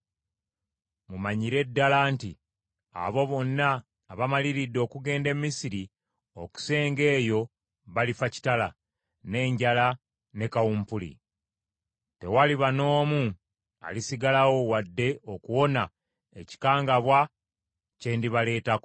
Mumanyire ddala nti, Abo bonna abamaliridde okugenda e Misiri okusenga eyo balifa kitala, n’enjala ne kawumpuli; tewaliba n’omu alisigalawo wadde okuwona ekikangabwa kye ndibaleetako.’